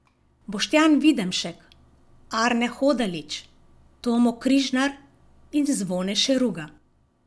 Boštjan Videmšek, Arne Hodalič, Tomo Križnar in Zvone Šeruga.